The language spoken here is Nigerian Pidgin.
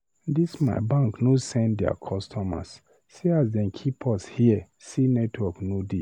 Dis my bank no send there customers, see as dem keep us here sey network no dey.